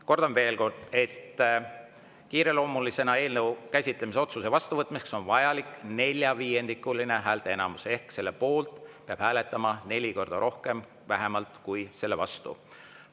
Kordan veel kord, et eelnõu kiireloomulisena käsitlemise otsuse vastuvõtmiseks on vajalik neljaviiendikuline häälteenamus ehk selle poolt peab hääletama vähemalt neli korda rohkem kui selle vastu.